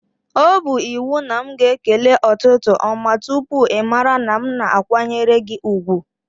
O bụ iwu na m ga-ekele ụtụtụ ọma tụpụ ịmara na m na-akwanyere gị ùgwù?